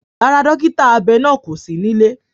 Rárá, dókítà abẹ náà kò sí nílẹ̀